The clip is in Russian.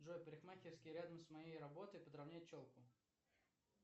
джой парикмахерские рядом с моей работой подровнять челку